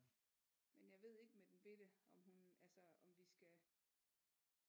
Men jeg ved ikke med den bette om hun altså om vi skal